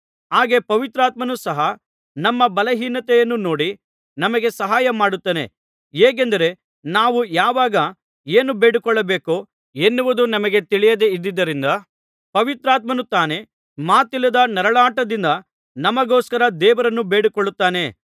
ಹಾಗೆ ಪವಿತ್ರಾತ್ಮನು ಸಹ ನಮ್ಮ ಬಲಹೀನತೆಯನ್ನು ನೋಡಿ ನಮಗೆ ಸಹಾಯಮಾಡುತ್ತಾನೆ ಹೇಗೆಂದರೆ ನಾವು ಯಾವಾಗ ಏನು ಬೇಡಿಕೊಳ್ಳಬೇಕೋ ಎನ್ನುವುದು ನಮಗೆ ತಿಳಿದಿಲ್ಲದ್ದರಿಂದ ಪವಿತ್ರಾತ್ಮನು ತಾನೇ ಮಾತಿಲ್ಲದ ನರಳಾಟದಿಂದ ನಮಗೋಸ್ಕರ ದೇವರನ್ನು ಬೇಡಿಕೊಳ್ಳುತ್ತಾನೆ